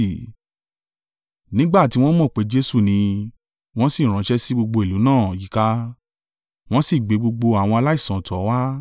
Nígbà tiwọn mọ̀ pé Jesu ni, wọn sì ránṣẹ́ sí gbogbo ìlú náà yíká. Wọ́n sì gbé gbogbo àwọn aláìsàn tọ̀ ọ́ wá.